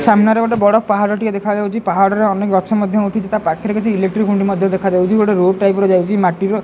ସାମ୍ନାରେ ଗୋଟେ ବଡ଼ ପାହାଡ଼ଟେ ଦେଖାଯାଉଛି ପାହାଡ଼ରେ ଅନେକ ଗଛ ମଧ୍ୟ ଉଠିଛି ତାପାଖରେ କିଛି ଇଲେକ୍ଟ୍ରି ଖୁଣ୍ଟ ମଧ୍ୟ ଦେଖା ଯାଉଛି ଗୋଟେ ରୋ ଟାଇପ୍ ର ଯାଇଛି ମାଟିର।